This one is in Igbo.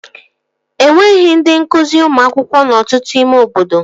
Enweghị ndị nkụzi ụmụ akwụkwọ n'ọtụtụ ime obodo